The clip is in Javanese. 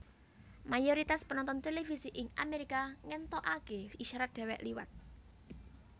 Mayoritas penonton televisi ing Amerika ngéntokaké isyarat déwék liwat